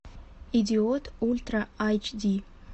идиот ультра айч ди